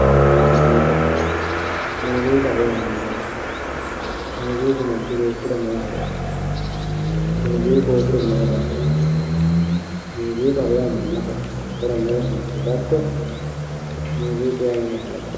Muuzziiqqa, muuzziiqqaho yaa mayate, muuzziiqqu manchu beettira mayi horo aano, muuzziiqqu hoogiro mayi qari iillawo, muuzziiqaho yaa manaho horo noosi yite hedatto, muuzziiqqu yaa mama kalaqami